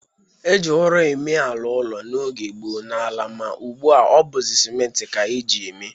E ji ụrọ eme ala ụlọ n'oge gboo n'ala ma ugbu a ọ bụzị simentị ka e ji eme.